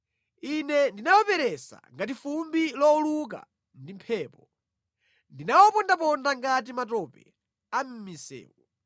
Ine ndinawaperesa ngati fumbi lowuluka ndi mphepo. Ndinawapondaponda ngati matope a mʼmisewu.